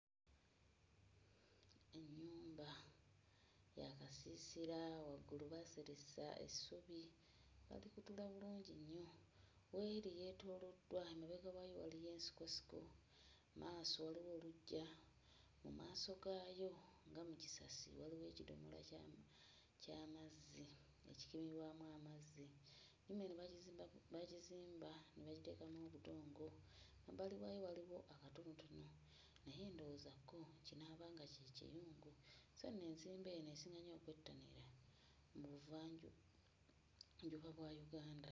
Ennyumba ya kasiisira waggulu baaseresa essubi baalikutula bulungi nnyo w'eri yeetooloddwa emabega waayo waliyo ensikosiko mmaaso waliwo oluggya, mu maaso gaayo nga mu kisasi waliwo ekidomola ky'amu ky'amazzi ekikimirwamu amazzi nnyumba eno baagizimba ku baagizimba ne bagiteekamu obudongo mabbali waayo waliwo akatonotono naye ndowooza kko kinaaba nga kye kiyungu so nno enzimba eno esinga nnyo okwettanirwa mu buvanjunjuba bwa Uganda.